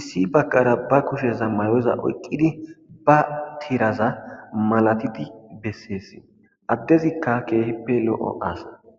issi baqara ba kusheza mayoza oyqqidi ba tiraza malatidi besseesi addezikka keehippe lo'o aasa.